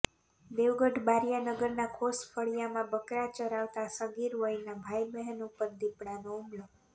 દેવગઢબારિઆ નગરના ખોસ ફળિયામાં બકરા ચરાવતા સગીર વયના ભાઈ બહેન ઉપર દિપડાનો હુમલો